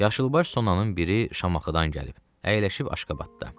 Yaşılbaş sonanın biri Şamaxıdan gəlib, əyləşib Aşqabadda.